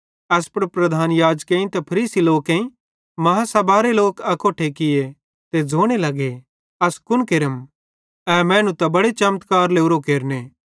एस पुड़ प्रधान याजकन ते फरीसी लोक बेड्डी आदालतरे लोक अकोट्ठे किये ते ज़ोने लगे अस कुन केरम ए मैनू त इड़ी बड़े चमत्कार लोरोए केरने